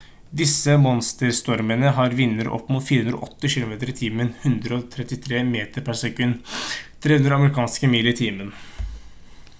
disse monsterstormene har vinder opp mot 480 km/t 133 m/s; 300 amerikanske mil i timen